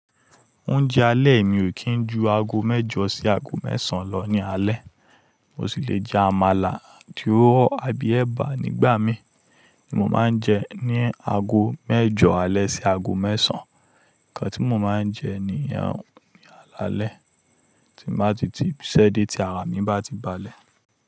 Oúnjẹ alẹ́ mi ò kí ń ju ago mẹ́jọ sí ago mẹ́sàn lọ ní alẹ́. Mo sì lè jẹ àmàlà, tuwo àbí ẹ̀bà nígbà míì ní mo máa ń jẹ ní aago mẹ́jọ alẹ́ sí aago mẹ́sàn. Nǹkan tí mo máa ń jẹ nìyẹn ní àlà lẹ́, tí n bá ti ti ibi iṣẹ́ dé tí ara mi bá ti balẹ̀.